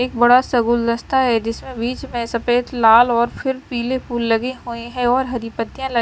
एक बड़ा सा गुलदस्ता है जिसमें बीच में सफेद लाल और फिर पीले फूल लगे हुएं हैं और हरी पत्तियां ल--